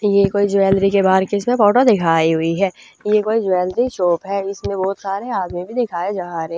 ये कोई ज्वेलरी के बाहर की इसम्ह फोटो दिखाई हुई ह ये कोई ज्वेलरी शॉप ह इसम्ह बहुत सारे आदमी भी दिखाए जा रहे --